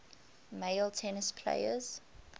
male tennis players